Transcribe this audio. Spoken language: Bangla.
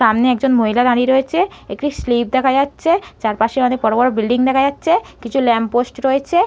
সামনে একজন মহিলা দাঁড়িয়ে রয়েছে। একটি স্লিপ দেখা যাচ্ছে। চারপাশে অনেক বড় বড় বিল্ডিং দেখা যাচ্ছে। কিছু ল্যাম্প পোস্ট রয়েছে।